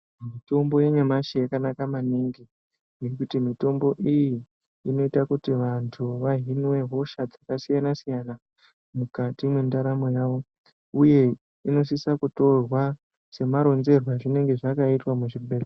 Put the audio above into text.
Mitombo yanyamashi yakanaka maningi, ngekuti mitombo iyi inoita kuti vantu vahinwe hosha dzakasiyana-siyana, mukati mwendaramo yavo uye inosisa kutorwa semaronzerwe azvinenge zvakaitwa muzvibhedhlera.